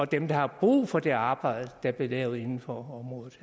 dem der har brug for det arbejde der bliver lavet inden for området